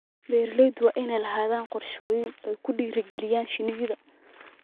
Beeralayda waa inay lahaadaan qorshooyin ay ku dhiirigelinayaan shinnida.